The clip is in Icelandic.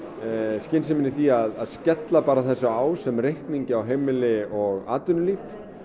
skynsemina í því að skella þessu á sem reikningi á heimili og atvinnulíf